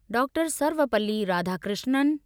doctor Sarvepalli Radhakrishnan